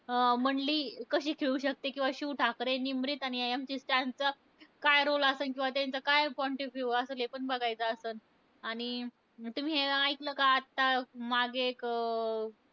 अं मंडली कशी खेळू शकते. किंवा शिव ठाकरे, निमरीत आणि MC स्टॅनचा काय role असलं, किंवा त्यांचा काय point of view असलं. हे पण बघायचं असलं. आणि तुम्ही हे ऐकलं का? आता मागे एक अं